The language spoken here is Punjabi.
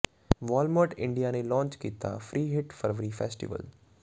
ਵਾਲਮਾਰਟ ਇੰਡੀਆ ਨੇ ਲਾਂਚ ਕੀਤਾ ਫ੍ਰੀ ਹਿੱਟ ਫਰਵਰੀ ਫੈਸਟੀਵਲ